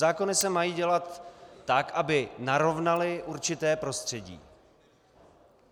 Zákony se mají dělat tak, aby narovnaly určité prostředí.